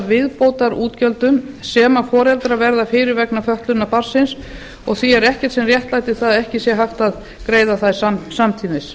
viðbótarútgjöldum sem foreldrar verða fyrir vegna fötlunar barnsins og því er ekkert sem réttlætir að ekki sé hægt að greiða þær samtímis